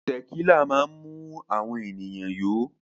Tẹ̀kílà máa ń mú àwọn ènìyàn yó.